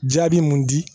Jaabi mun di